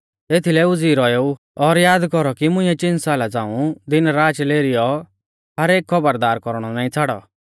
एथीलै उज़ीई रौएऊ और याद कौरौ कि मुंइऐ चिन साला झ़ांऊ दिन राच लेरीलेरीयौ हर एक खौबरदार कौरणौ नाईं छ़ाड़ौ